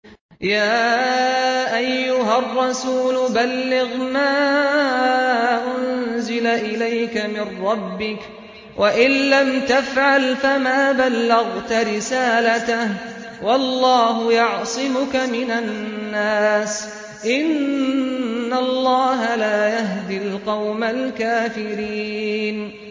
۞ يَا أَيُّهَا الرَّسُولُ بَلِّغْ مَا أُنزِلَ إِلَيْكَ مِن رَّبِّكَ ۖ وَإِن لَّمْ تَفْعَلْ فَمَا بَلَّغْتَ رِسَالَتَهُ ۚ وَاللَّهُ يَعْصِمُكَ مِنَ النَّاسِ ۗ إِنَّ اللَّهَ لَا يَهْدِي الْقَوْمَ الْكَافِرِينَ